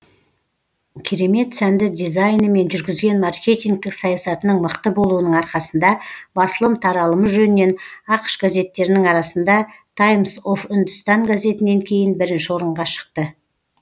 керемет сәнді дизайні мен жүргізген маркетингтік саясатының мықты болуының арқасында басылым таралымы жөнінен ақш газеттерінің арасында таймс оф үндістан газетінен кейін бірінші орынға шықты